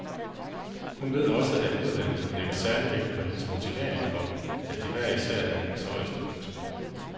Hun ved også, at uddannelserne lægger særligt vægt på hendes motivering for, at de hver især er hendes højeste ønske.